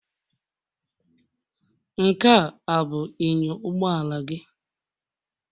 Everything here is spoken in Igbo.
Nkea abụ inyo ụgbọala gị?